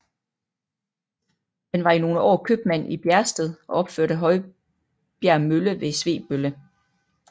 Han var i nogle år købmand i Bjergsted og opførte Højbjerg mølle ved Svebølle